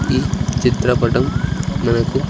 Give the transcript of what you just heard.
ఈ చిత్రపటం మనకు.